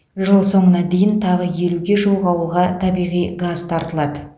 жыл соңына дейін тағы елуге жуық ауылға табиғи газ тартылады